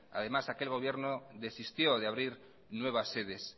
además aquel gobierno desistió de abrir nuevas sedes